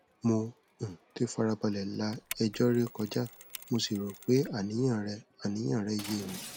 mo um ti farabalẹ la ẹjọ rẹ kọjá mo sì rò pé àníyàn rẹ àníyàn rẹ yé mi